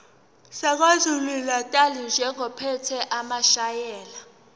sakwazulunatali njengophethe amasheya